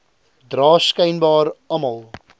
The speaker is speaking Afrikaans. dra skynbaar almal